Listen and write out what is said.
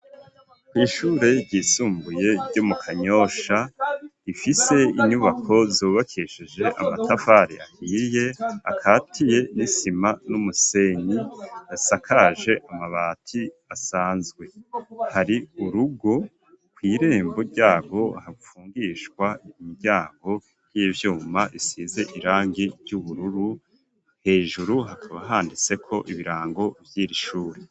Kw'ishure ryisumbuye ryo mu kanyosha rifise inyubako zobakesheje amatavare ahirye akatiye nisima n'umusenyi yasakaje amabati asanzwe hari urugo kw'irembo ryabo hapfungishwa imiryana hago 'ivyuma isize irangi ry'ubururu hejuru hakaba handitseko ibirango vyira ishuri.